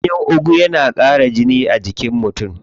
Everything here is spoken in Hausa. Ganyen ugu na ƙara jini a jikin mutum.